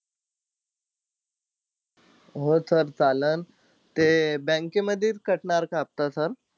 हो sir चाललं. ते bank मधेच cut का हफ्ता sir?